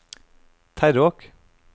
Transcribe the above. Terråk